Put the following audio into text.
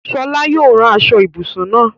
Sọlá yóò ra aṣọ-ìbùsùn náà.